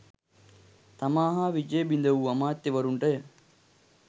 තමා හා විජය බිඳ වූ අමාත්‍යවරුන්ටය.